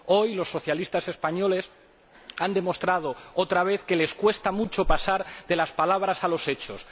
Hoy los socialistas españoles han demostrado otra vez que les cuesta mucho pasar de las palabras a los hechos.